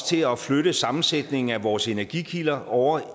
til at flytte sammensætningen af vores energikilder over